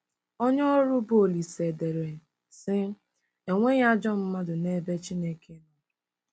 Onye ọrụ bụ́ Olise dere, sị: “Enweghị ajọ mmadụ n'ebe Chineke nọ.